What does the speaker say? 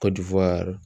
Kɔju fɔ yɔrɔ